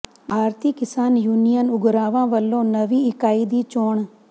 ਭਾਰਤੀ Kisan union Ugrahan ਵੱਲੋਂ ਨਵੀਂ ਇਕਾਈ ਦੀ ਚੋਣ